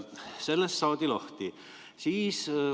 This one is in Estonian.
Sellest saadi lahti.